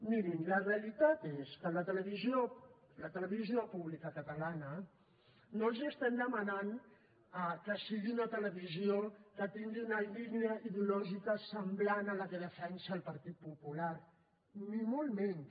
mirin la realitat és que la televisió pública catalana no els estem demanant que siguin una televisió que tingui una línia ideològica semblant a la que defensa el partit popular ni molt menys